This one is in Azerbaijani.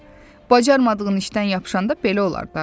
Bacarmadığın işdən yapışanda belə olar da.